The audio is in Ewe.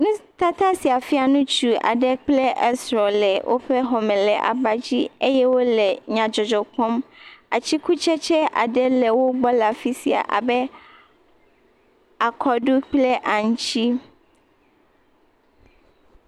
nutata sia fia ŋutsu aɖe kple esrɔ̃ le woƒe xɔme le abadzi eye wole nyadzɔdzɔ kpɔm atikutsetse aɖe le wogbɔ le afi sia abe akɔdu kple aŋuti.